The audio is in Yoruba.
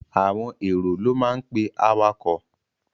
Àwọn èrò ló máa pe awakọ̀.